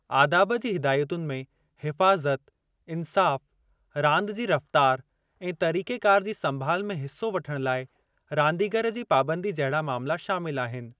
आदाब जी हिदायतुनि में हिफ़ाज़त, इंसाफ़, रांदि जी रफ़्तारु ऐं तरीक़ेक़ारु जी संभालु में हिस्सो वठणु लाइ रांदीगरु जी पाबंदी जहिड़ा मामला शामिल आहिनि।